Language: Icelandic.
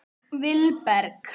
Vilberg